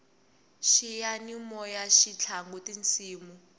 xiyanimoyaxi tlanga tisimu